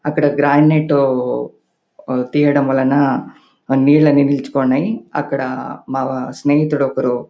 అక్కడ గ్రానైట్ తియ్యడం వలన నీళ్లన్నీ నిలిచిపోయినై. అక్కడ మా స్నేహితుడు ఒకడు--